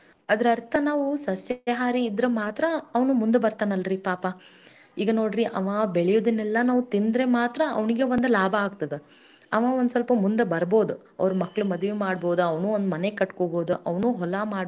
ಬಹುದ್. ಬೆಳೆ ಬೆಳಿಬಹುದು ಈಗ ಅದ ಬಿಟ್ಟು ನಾವೆಲ್ಲ ಬಿಟ್ಟು ಬರೀ ಮಾಂಸಹಾರಿ ಸಿಕ್ಕಿದ್ದೀನಲ್ಲಾ ಕೊಯ್ದು ಕೊಯ್ದು ತಿನ್ನುತ್ತಾ ಹೋದ್ವಿ ಅಂದ್ರ ಪಾಪಾ ಆ ಮನುಷ್ಯಾ ಏನ್ ಮಾಡ್ಬೇಕ್ ಮತ್ ಅವ ಹೆಂಗ ನಮ್ ದೇಶದ ಬೆನ್ನೆಲುಬು ಆಗ್ತಾನ ನಾವ್ ಅದನ್ನು ವಿಚಾರ ಮಾಡಿ.